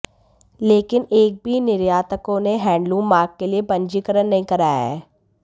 लेकिन एक भी निर्यातकों ने हैंडलूम मार्क के लिए पंजीकरण नहीं कराया है